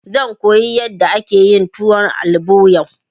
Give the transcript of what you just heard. Zan koyi yadda ake yin tuwon albo yau.